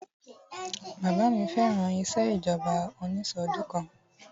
Bàbá mi fẹ́ràn ìṣèjọba onísọdọ̀kan